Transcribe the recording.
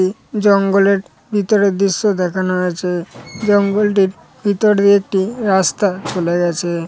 দি জঙ্গলের ভিতরে দৃশ্য দেখানো হয়েছে। জঙ্গলটির ভিতরে একটি রাস্তা চলে গেছে